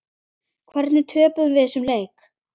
Hvernig töpuðum við þessum leik?